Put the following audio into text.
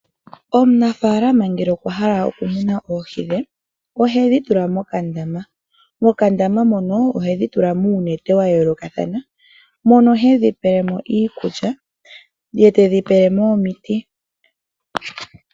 Omunafalama ngele okwa hala okumuna oohi dhe ohedhi tula mokandama. Mokandama mono ohedhi tula muunete wayoolokathana mono hedhi pelemo iikulya nomiti.